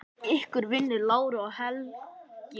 Ykkar vinir, Lára og Helgi.